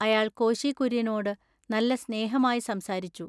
അയാൾ കോശികുൎയ്യനോടു നല്ല സ്നേഹമായി സംസാരിച്ചു.